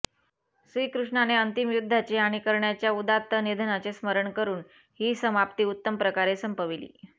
श्रीकृष्णाने अंतिम युद्धाचे आणि कर्णाच्या उदात्त निधनाचे स्मरण करून ही समाप्ती उत्तम प्रकारे संपविली